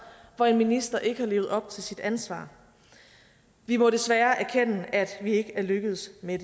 hvor en minister ikke har levet op til sit ansvar vi må desværre erkende at vi ikke er lykkedes med